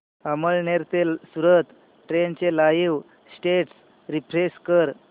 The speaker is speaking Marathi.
अमळनेर ते सूरत ट्रेन चे लाईव स्टेटस रीफ्रेश कर